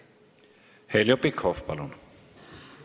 Heljo Pikhof, palun!